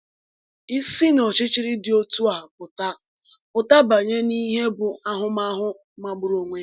Isi n’ọchịchịrị dị otu a pụta pụta banye n’ìhè bụ ahụmahụ magburu onwe ya.